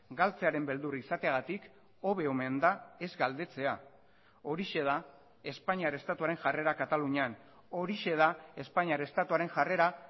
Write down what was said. galtzearen beldur izateagatik hobe omen da ez galdetzea horixe da espainiar estatuaren jarrera katalunian horixe da espainiar estatuaren jarrera